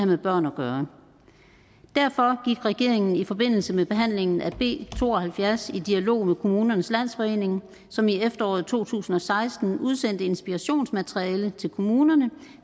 med børn at gøre derfor gik regeringen i forbindelse med behandlingen af b to og halvfjerds i dialog med kommunernes landsforening som i efteråret to tusind og seksten udsendte inspirationsmateriale til kommunerne